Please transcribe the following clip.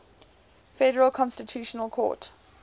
federal constitutional court